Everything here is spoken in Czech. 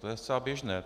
To je zcela běžné.